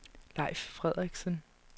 Leif Frederiksen